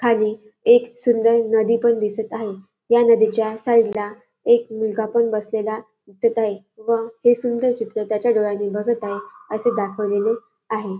खाली एक सुंदर नदी पण दिसत आहे या नदीच्या साईडला एक मुलगा पण बसलेला दिसत आहे व हे सुंदर चित्र त्याच्या डोळ्यांनी बघत आहे असे दाखवले आहे.